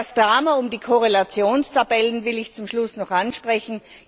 Das Drama um die Korrelationstabellen will ich zum Schluss noch ansprechen.